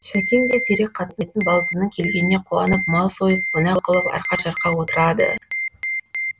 шәкең де сирек қатынайтын балдызының келгеніне қуанып мал сойып қонақ қылып арқа жарқа отырады